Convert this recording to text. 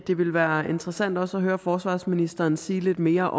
det ville være interessant også at høre forsvarsministeren sige lidt mere